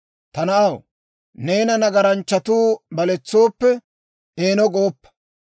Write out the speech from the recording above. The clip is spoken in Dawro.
Ta na'aw, neena nagaranchchatuu baletsooppe, eeno gooppa.